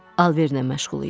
Alverlə məşğul idi.